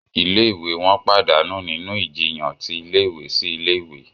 Ilé-ìwé wọn pàdánù nínú ìjiyàn ti ilé-ìwé sí ilé ìwé